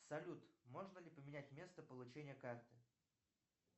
салют можно ли поменять место получения карты